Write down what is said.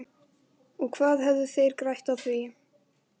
Og hvað hefðu þeir grætt á því?